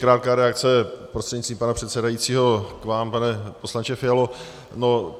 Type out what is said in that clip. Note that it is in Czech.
Krátká reakce prostřednictvím pana předsedajícího k vám, pane poslanče Fialo.